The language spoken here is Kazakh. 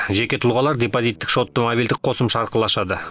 жеке тұлғалар депозиттік шотты мобильдік қосымша арқылы ашады